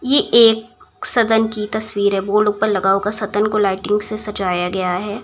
ये एक सदन की तस्वीर है। बोर्ड ऊपर लगा होगा। सदन को लाइटिंग से सजाया गया है।